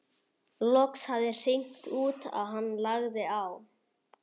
Loks hafði hringt út og hann lagði á.